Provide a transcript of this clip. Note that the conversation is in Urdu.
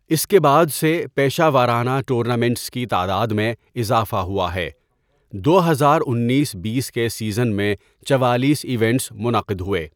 اس کے بعد سے، پیشہ ورانہ ٹورنامنٹس کی تعداد میں اضافہ ہوا ہے، دو ہزار انیس بیس کے سیزن میں چوالیس ایونٹس منعقد ہوئے۔